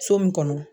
So min kɔnɔ